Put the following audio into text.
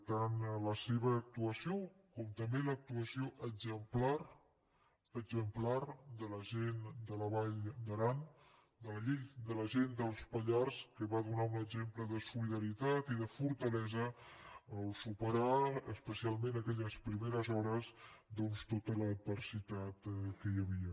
tant la seva actuació com també l’actuació exemplar exemplar de la gent de la vall d’aran de la gent dels pallars que van donar un exemple de solidaritat i de fortalesa al superar especialment aquelles primeres hores doncs tota l’adversitat que hi havia